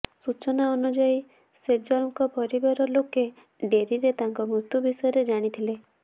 ସୂଚନା ଅନୁଯାୟୀ ସେଜଲଙ୍କ ପରିବାର ଲୋକେ ଡେରିରେ ତାଙ୍କ ମୃତ୍ୟୁ ବିଷୟରେ ଜାଣିଥିଲେ